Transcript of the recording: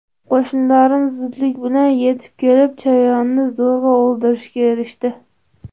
Qo‘shnilarim zudlik bilan yetib kelib, chayonni zo‘rg‘a o‘ldirishga erishdi.